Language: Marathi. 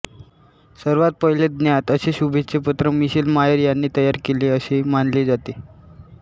सर्वात पहिले ज्ञात असे शुभेच्छापत्र मिशेल मायर याने तयार केले असे मानले जाते